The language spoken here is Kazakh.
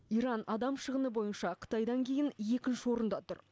иран адам шығыны бойынша қытайдан кейін екінші орында тұр